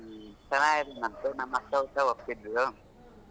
ಹ್ಮ್ ಚೆನ್ನಾಗಿದನಂತೆ ನಮ್ ಅಕ್ಕ ಒಪ್ಪಿದ್ಲು ಹೌದಾ ಭಾಳ ಇಷ್ಟ ಪಟ್ಟಳು.